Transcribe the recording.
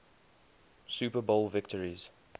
super bowl victories